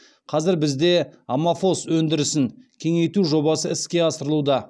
қазір бізде аммофос өндірісін кеңейту жобасы іске асырылуда